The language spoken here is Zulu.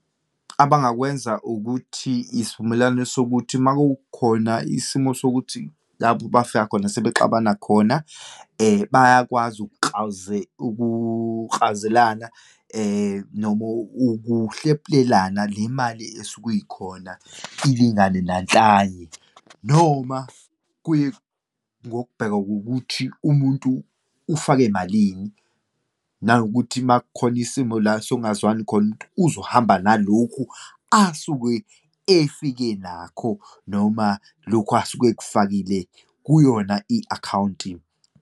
Abangakwenza ukuthi isivumelwano sokuthi uma kukhona isimo sokuthi lapho bafika khona sebexabana khona, bayakwazi ukuklawuzelana, noma ukuhlephulelana le mali esuke ikhona ilingane nanhlanye. Noma kuye ngokubheka kokuthi umuntu ufake malini, nanokuthi uma kukhona isimo la sokungazwani khona, uzohamba nalokhu asuke efike nakho, noma lokhu asuke ekufakile kuyona i-akhawunti.